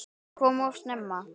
Kallið kom of snemma.